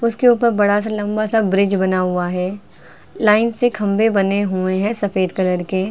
उसके ऊपर बड़ा सा लंबा सा ब्रिज बना हुआ है लाइन से खंभे बने हुए हैं सफेद कलर के।